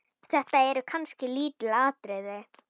Þetta eru kannski lítil atriði.